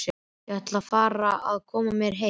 Ég ætla að fara að koma mér heim.